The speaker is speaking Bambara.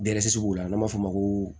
b'u la n'an b'a fɔ ma ko